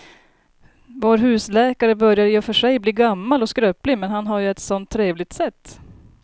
Vår husläkare börjar i och för sig bli gammal och skröplig, men han har ju ett sådant trevligt sätt!